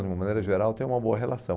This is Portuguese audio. De uma maneira geral, tem uma boa relação.